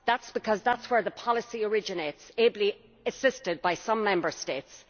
Because that is where the policy originates, ably assisted by some Member States.